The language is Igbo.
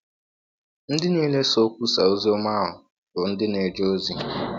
Ndị niile sọ kwụsaa ọzi ọma ahụ bụ ndị na - eje ọzi.